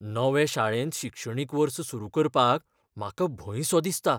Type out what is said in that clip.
नवे शाळेंत शिक्षणीक वर्स सुरू करपाक म्हाका भंय सो दिसता.